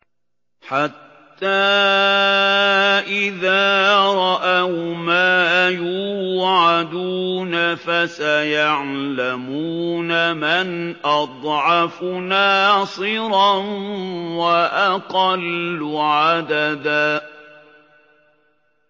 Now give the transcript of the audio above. حَتَّىٰ إِذَا رَأَوْا مَا يُوعَدُونَ فَسَيَعْلَمُونَ مَنْ أَضْعَفُ نَاصِرًا وَأَقَلُّ عَدَدًا